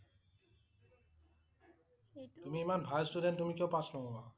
তুমি ইমান ভাল student তুমি কিয় পাছ নহবা?